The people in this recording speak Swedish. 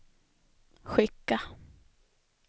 skicka